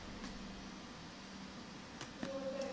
ਹੋਰ ਤਾਂ ਨਹੀਂ ਵਾਹਲਾ